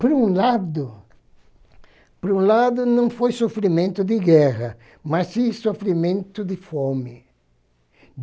Por um lado, por um lado não foi sofrimento de guerra, mas sim sofrimento de fome.